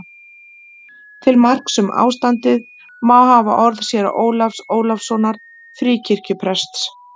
Til marks um ástandið má hafa orð séra Ólafs Ólafssonar Fríkirkjuprests